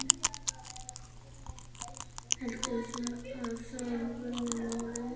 Heldurðu að það verði málið?